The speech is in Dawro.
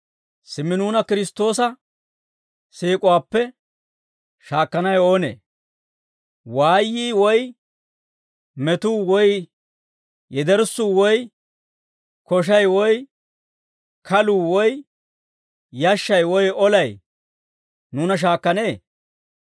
Simmi nuuna Kiristtoosa siik'uwaappe shaakkanawe oonee? Waayyii woy metuu woy yederssuu woy koshay woy kalluu woy yashshay woy olay nuuna shaakkanee?